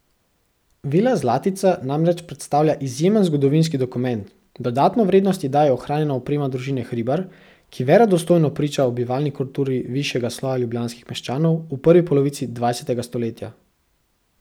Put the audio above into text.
Vila Zlatica namreč predstavlja izjemen zgodovinski dokument, dodatno vrednost ji daje ohranjena oprema družine Hribar, ki verodostojno priča o bivalni kulturi višjega sloja ljubljanskih meščanov v prvi polovici dvajsetega stoletja.